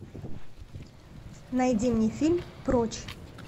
найди мне фильм прочь